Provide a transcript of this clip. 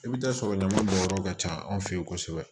I bɛ taa sɔrɔ damayɔrɔ ka ca anw fɛ yen kosɛbɛ